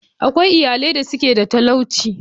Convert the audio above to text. Akwai iyalai da suke da talauci.